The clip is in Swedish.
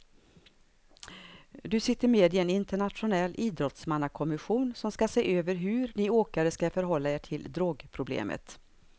Du sitter med i en internationell idrottsmannakommission som ska se över hur ni åkare ska förhålla er till drogproblemet.